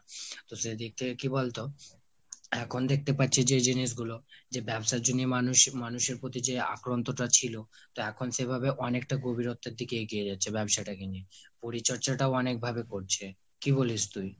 তো সেদিক থেকে কি বলতো এখন দেখতে পাচ্ছি যে জিনিসগুলো যে ব্যবসার জন্য মানুষ মানুষের প্রতি যে আক্রন্তটা ছিল তা এখন সেভাবে অনেকটা গভীরত্বের দিকে এগিয়ে রয়েছে ব্যবসাটাকে নিয়ে। পরিচর্চাটাও অনেক ভাবে করছে, কি বলিস তুই?